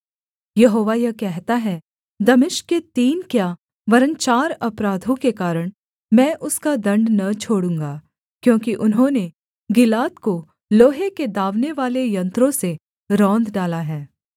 यहोवा यह कहता है दमिश्क के तीन क्या वरन् चार अपराधों के कारण मैं उसका दण्ड न छोड़ूँगा क्योंकि उन्होंने गिलाद को लोहे के दाँवनेवाले यन्त्रों से रौंद डाला है